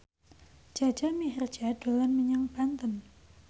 Jaja Mihardja dolan menyang Banten